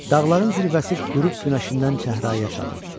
Dağların zirvəsi qürub günəşindən çəhrayı çalırdı.